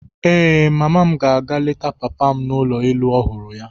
Ee, mama m ga-aga leta papa m n'ụlọ elu ọhụrụ ya.